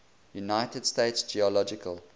united states geological